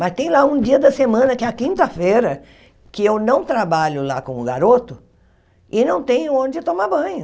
Mas tem lá um dia da semana, que é a quinta-feira, que eu não trabalho lá com o garoto e não tenho onde tomar banho.